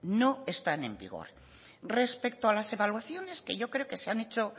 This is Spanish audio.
no están en vigor respecto a las evaluaciones que yo creo que se han hecho